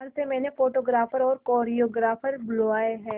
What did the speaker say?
बाहर से मैंने फोटोग्राफर और कोरियोग्राफर बुलाये है